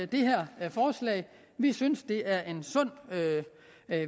det her forslag vi synes det er en sund